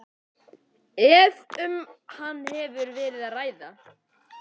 ef um hann hefur verið að ræða.